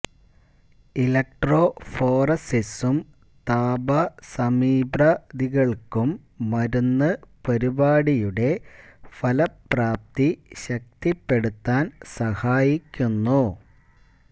ഇലക്ട്രോഫോറസിസും താപസമീപ്ര ദികൾക്കും മരുന്ന് പരിപാടിയുടെ ഫലപ്രാപ്തി ശക്തിപ്പെടുത്താൻ സഹായിക്കുന്നു